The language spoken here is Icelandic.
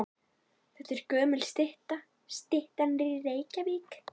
Þetta er gömul stytta. Styttan er í Reykjavík.